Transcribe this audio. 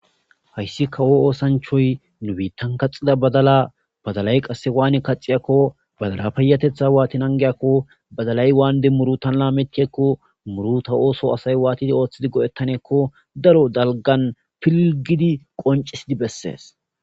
Haysi kawo oosanchoy nu biittan kaxxida badala ,badala payyatetha ,badalay waani kaxxiyako ,badalay waati nangiyaako ,badalay muruutan laamettiyako muruuta oothoy waaniyakko daro pilggidi qonccissidi bessees.